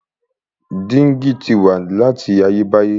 Dígí ti wà láti ayé báyé.